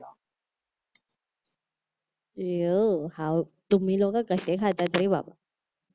Iwo हाऊ तुम्ही लोकं कसे खातात रे बाप